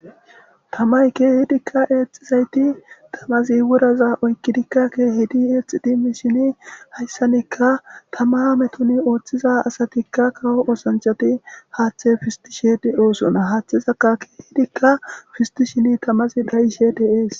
tamay keehidikka eexxizayti tamazi woraza oykkidikka keehidi eexi di mi shini hayssanekka tama hametuni ooththiza asatikka kawo osanchati haaththe fisti sheedi oosona haathezakka keehidikka fisti shini tamazi dhayi shedees